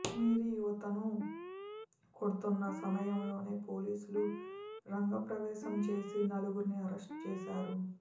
కాశ్మీరీ యువతను కొడుతున్న సమ యంలోనే పోలీసులు రంగ ప్రవేశం చేసి నలు గురిని అరెస్టు చేశారు